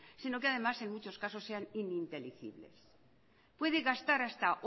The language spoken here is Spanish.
sino que además en muchas casos sean ininteligibles puede gastar hasta